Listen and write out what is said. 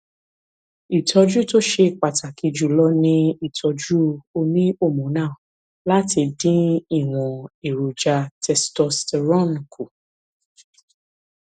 ìtọjú tó ṣe pàtàkì jùlọ ni ìtọjú oníhormonal láti dín ìwọn èròjà testosterone kù